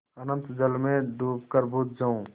अनंत जल में डूबकर बुझ जाऊँ